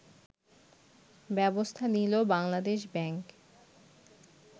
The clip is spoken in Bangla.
ব্যবস্থা নিল বাংলাদেশ ব্যাংক